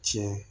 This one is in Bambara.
Tiɲɛ